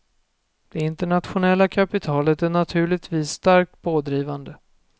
Det internationella kapitalet är naturligtvis starkt pådrivande.